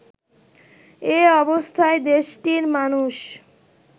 এ অবস্থায় দেশটির মানুষ